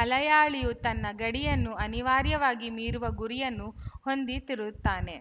ಮಲಯಾಳಿಯು ತನ್ನ ಗಡಿಯನ್ನು ಅನಿವಾರ್ಯವಾಗಿ ಮೀರುವ ಗುರಿಯನ್ನು ಹೊಂದಿ ದಿರುತ್ತಾನೆ